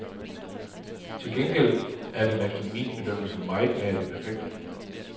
Til gengæld er den efter min bedømmelse meget nær det perfekte.